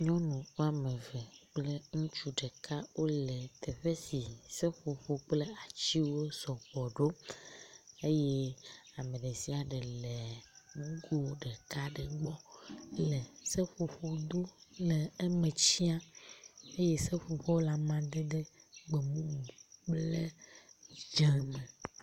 Nyɔnu woame eve kple ŋutsu ɖeka wole teƒe si seƒoƒo kple atiwo sɔgbɔ ɖo eye ame ɖe sia ɖe le nugo ɖeka ɖe gbɔ le seƒoƒo dom le eme tiam eye seƒoƒoa le amadede gbemumu kple dze me.